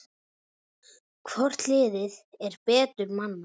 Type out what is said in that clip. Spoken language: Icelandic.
Hvort liðið er betur mannað?